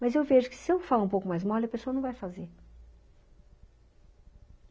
Mas eu vejo que se eu falo um pouco mais mole, a pessoa não vai fazer.